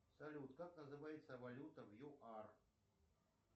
салют как называется валюта в юар